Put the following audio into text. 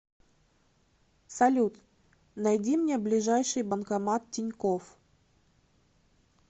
салют найди мне ближайший банкомат тинькофф